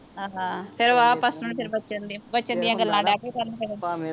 ਹਾਂ ਫੇਰ ਵਾਵਾ ਪਾਸਟਰ ਹੁਣੀ ਬਚਨ ਦੀਆਂ ਬਚਨ ਦੀਆਂ ਗੱਲਾਂ ਡਹਿ ਪਏ ਕਰਨ ਫੇਰ